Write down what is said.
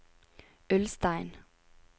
Ulstein